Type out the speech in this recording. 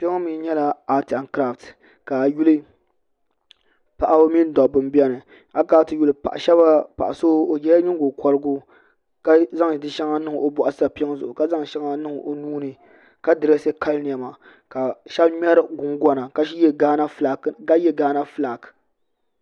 Ka ayi yuli paɣaba mini dabba n biɛni a yi kana ti yuli paɣa so o yɛla nyingokorigu ka zaŋ di shɛŋa niŋ o boɣu sapiŋ zuɣu ka zaŋ shɛŋa niŋ o nuuni ka dirɛsi kali niɛma ka shab ŋmɛri gungona ka yɛ gaana fulak